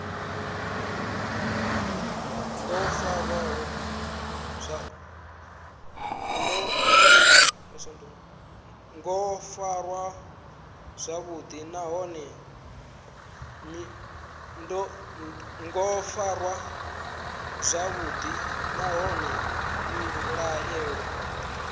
ngo farwa zwavhuḓi nahone mbilaelo